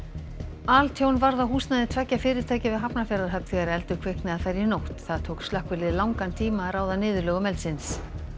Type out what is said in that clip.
altjón varð á húsnæði tveggja fyrirtækja við Hafnarfjarðarhöfn þegar eldur kviknaði þar í nótt það tók slökkvilið langan tíma að ráða niðurlögum eldsins